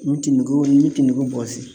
Ni ti nugu ni te nugu bɔsi